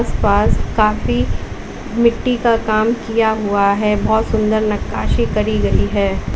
पास काफी मिट्टी का काम किया हुआ है बहुत सुंदर नक्काशी करी गई है।